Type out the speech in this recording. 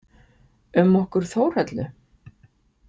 Um okkur Þórhöllu?